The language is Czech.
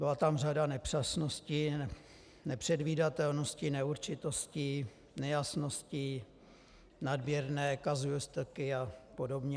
Byla tam řada nepřesností, nepředvídatelností, neurčitostí, nejasností, nadměrné kazuistiky a podobně.